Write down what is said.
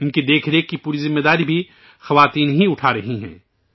ان کی دیکھ ریکھ کی پوری ذمہ داری بھی خواتین ہی اٹھا رہی ہیں